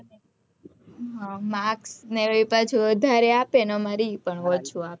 marks એ પાછુ વધારે આપે ને અમારે એ પણ ઓછુ આપે